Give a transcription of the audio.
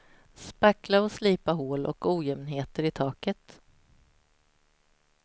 Spackla och slipa hål och ojämnheter i taket.